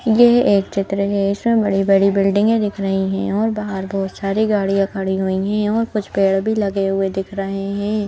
यह एक चित्र है। इसमें बड़ी बड़ी बिल्डिंगे दिख रही है और बाहर बहुत सारी गाड़ियां खड़ी हुई है और कुछ पेड़ भी लगे हुए दिख रहे हैं।